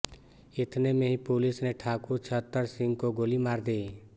इतने में ही पुलिस ने ठाकुर छत्तर सिंह को गोली मार दी